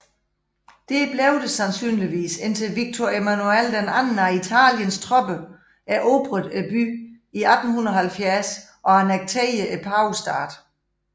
Dér blev det sandsynligvis indtil Victor Emmanuel II af Italiens tropper erobrede byen i 1870 og annekterede Pavestaten